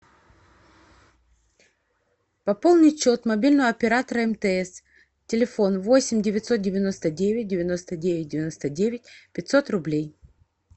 пополнить счет мобильного оператора мтс телефон восемь девятьсот девяносто девять девяносто девять девяносто девять пятьсот рублей